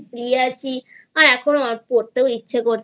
শুয়ে আছি আর পড়তেও ইচ্ছা করছিলো না